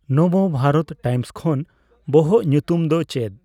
Nav Bharat Times ᱠᱷᱚᱱ ᱵᱚᱦᱚᱜ ᱧᱩᱛᱩᱢ ᱫᱚ ᱪᱮᱫ